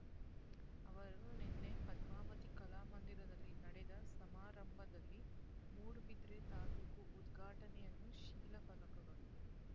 ಅವರು ನಿನ್ನೆ ಪದ್ಮಾವತಿ ಕಲಾ ಮಂದಿರದಲ್ಲಿ ನಡೆದ ಸಮಾರಂಭದಲ್ಲಿ ಮೂಡುಬಿದಿರೆ ತಾಲೂಕು ಉದ್ಘಾಟನೆ ಯನ್ನು ಶಿಲಾಫಲಕಗಳು